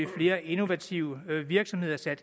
flere innovative virksomheder til at